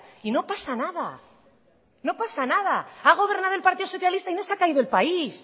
y no pasa nada no pasa nada ha gobernado el partido socialista y no se ha caído el país